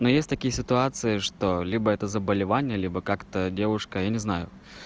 но есть такие ситуации что либо это заболевание либо как-то девушка я не знаю